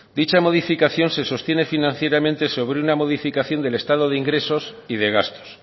dicha modificación se sostiene financieramente sobre una modificación del estado de ingresos y de gastos